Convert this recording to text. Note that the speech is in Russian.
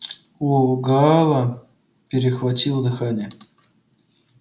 у гаала перехватило дыхание